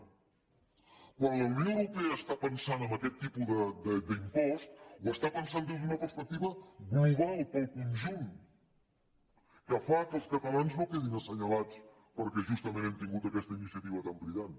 quan la unió europea està pensant en aquest tipus d’impost ho està pensant des d’una perspectiva global per al conjunt que fa que els catalans no quedin assenyalats perquè justament han tingut aquesta iniciativa tan brillant